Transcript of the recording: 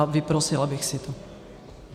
A vyprosila bych si to.